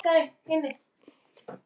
Og það engan smábíl.